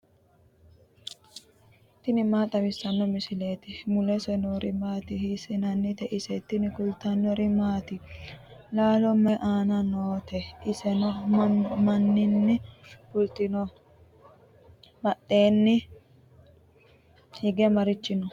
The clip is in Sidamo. tini maa xawissanno misileeti ? mulese noori maati ? hiissinannite ise ? tini kultannori mattiya? laalo may aanna nootte? iseno maninni fulittinno? badheenni hige marichi nno?